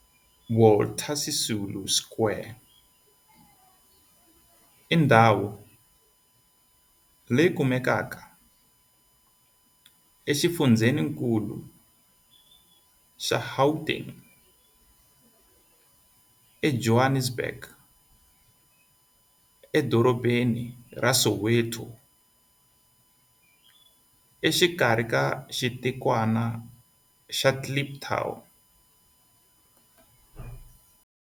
Walter Sisulu Square i ndhawu leyi kumekaka exifundzheni-nkulu xa Gauteng, Johannesburg, a Soweto, exikarhi ka xitikwana xa Kliptown.